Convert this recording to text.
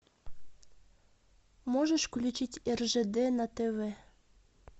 можешь включить ржд на тв